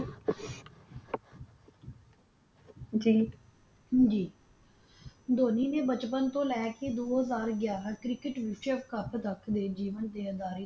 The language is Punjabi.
ਜੀ ਜੀ ਧੋਨੀ ਨੇ ਬਚਪਨ ਤੋਂ ਲੈ ਕੇ ਦੋ ਹਾਜਰ ਗਿਆਰਾਂ ਕ੍ਰਿਕੇਟ ਵਿਸ਼ਵ ਕਪ ਤਕ ਦੇ ਜੀਵਨ ਦੇ ਆਧਾਰ